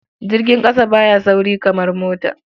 Jirgin ƙasa ba ya sauri kamar mota.